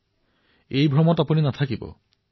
আৰে ভাইসকল এই ভ্ৰমত নাথাকিব